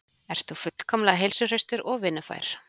Ert þú fullkomlega heilsuhraustur og vinnufær?